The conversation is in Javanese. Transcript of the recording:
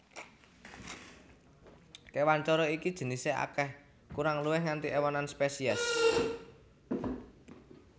Kéwan coro iki jinisé akèh kurang luwih nganti éwonan spesies